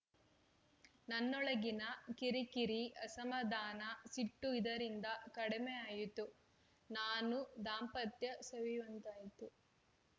ನನ್ನೊಳಗಿನ ಕಿರಿಕಿರಿ ಅಸಮಾಧಾನ ಸಿಟ್ಟು ಇದರಿಂದ ಕಡಿಮೆಯಾಯ್ತು ನಾನೂ ದಾಂಪತ್ಯ ಸವಿಯುವಂತಾಯ್ತು